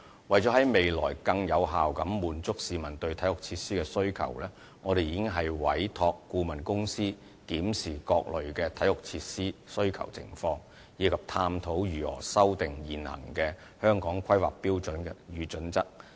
為了在未來更有效地滿足市民對體育設施的需求，我們已經委託顧問公司檢視各類體育設施的需求情況，以及探討如何修訂現行的《香港規劃標準與準則》。